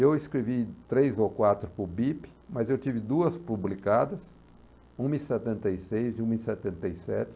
Eu escrevi três ou quatro para o Bip, mas eu tive duas publicadas, uma em setenta e seis e uma em setenta e sete.